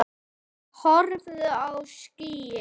Horfðu á skýin.